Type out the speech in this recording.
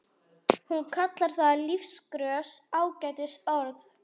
Hún kallar það lífgrös, ágætis orð.